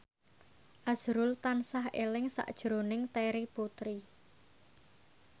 azrul tansah eling sakjroning Terry Putri